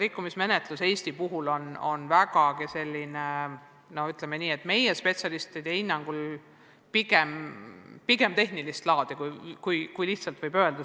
Aga mis puutub Eesti suhtes algatatud rikkumismenetlusse, siis meie spetsialistide hinnangul on puudujäägid pigem tehnilist laadi, kui lihtsalt öelda.